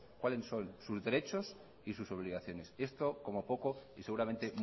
cuáles son sus derechos y sus obligaciones esto como poco y seguramente